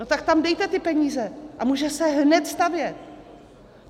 No tak tam dejte ty peníze a může se hned stavět.